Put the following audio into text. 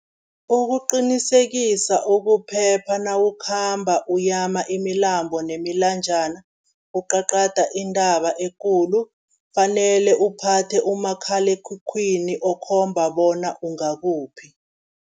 Ukuqinisekisa ukuphepha nawukhamba uyama imilambo nemilanjana, uqaqada intaba ekulu, kufanele uphathe umakhalekhukhwini okhomba bona ungakuphi.